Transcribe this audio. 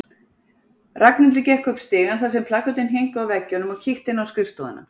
Ragnhildur gekk upp stigann þar sem plakötin héngu á veggjunum og kíkti inn á skrifstofuna.